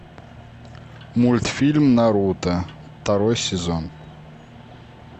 мультфильм наруто второй сезон